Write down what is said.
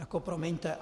No promiňte.